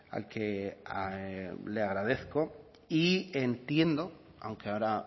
al que le agradezco y entiendo aunque ahora